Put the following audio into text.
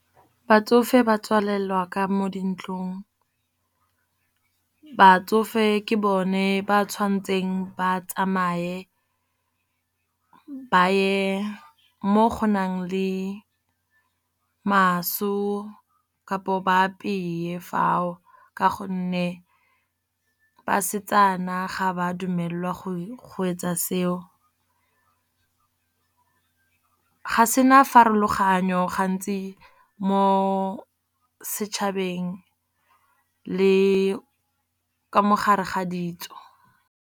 Batsofe ba tswalelwa ka mo dintlong. Batsofe ke bone ba tshwanetseng ba tsamaye ba ye mo gonang le maso, kapo ba apeye fao. Ka gonne basetsana ga ba dumelelwa go etsa seo, ga sena pharologanyo gantsi mo setšhabeng le ka mo gare ga ditso.